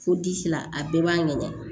Fo disi la a bɛɛ b'a ŋɛɲɛ